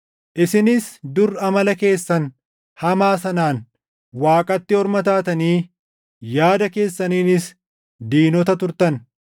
Isinis dur amala keessan hamaa sanaan Waaqatti orma taatanii yaada keessaniinis diinota turtan.